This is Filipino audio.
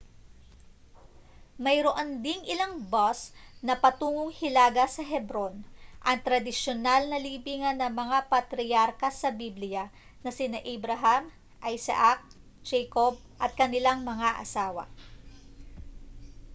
mayroon ding ilang bus na patungong hilaga sa hebron ang tradisyonal na libingan ng mga patriyarka sa bibliya na sina abraham isaac jacob at kanilang mga asawa